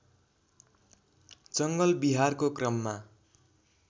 जङ्गल बिहारको क्रममा